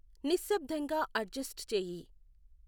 నిశ్శబ్దంగా అడ్జస్ట్ చేయి